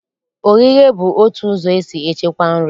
Oghighe bụ otu ụzọ esi echekwa nri